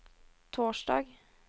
torsdag